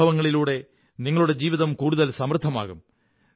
ഈ അനുഭവങ്ങളിലൂടെ നിങ്ങളുടെ ജീവിതം കൂടുതൽ സമൃദ്ധമാകും